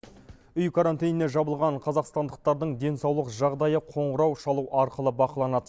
үй карантиніне жабылған қазақстандықтардың денсаулық жағдайы қоңырау шалу арқылы бақыланады